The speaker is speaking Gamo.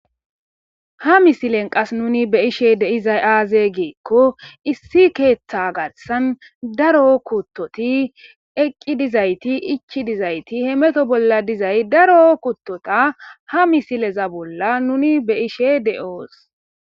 Ha misilen qas nuni be ishe deizay aaze geekko issi keeththa garsan daro kuttoti eqqi dizayti ichi dizayti he meto bolla dizay daro kuttota ha misileza bolla nuni be ishe de7oos.